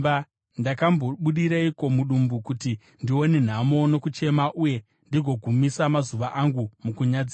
Ndakambobudireiko mudumbu kuti ndione nhamo nokuchema uye ndigogumisa mazuva angu mukunyadziswa?